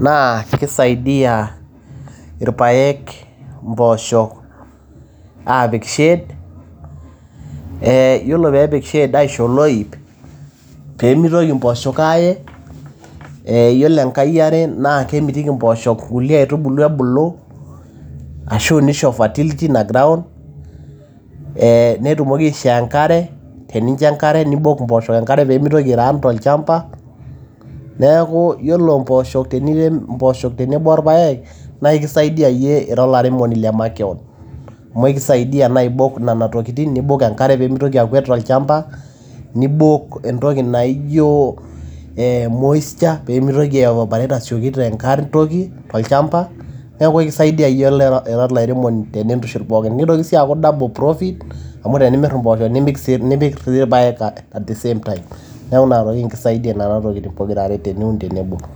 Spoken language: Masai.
naa keisaidia ilpaek impoosho aapik shade, ore pee epik shade aisho oloip, pee meitoki impoosho ea. Iyiolo enkae eaire naa kemitiki impoosho inkulie aitubulu ebulu ashu neisho fertility ina ground, netumoki aisho enkare , neibok impoosho enkare pee meitoki airun tolchamba, neaku ore tenirem impoosho tenebo olpaek naa ekisaidia iyie ira olairemoni le makeon. Amu keisaidia naa abok inenatokitin neibok enkare pee meitoki akwet tolchamba, neibok entoki naijo moisture pee meitoki aievaporate te asioki tolchamba neaku ekisaidia ira olairemoni tenintushul pooki. Neitoki sii aaku double profit amu tenimir empoosho nimir ilpaek at the same time, neaku ina kisaidia nena tokiting' pokirare tiniun tenebo.